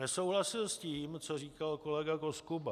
Nesouhlasil s tím, co říkal kolega Koskuba.